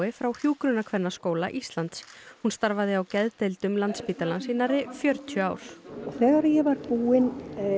frá Hjúkrunarkvennaskóla Íslands hún starfaði á geðdeildum Landspítalans í nærri fjörutíu ár og þegar ég var búin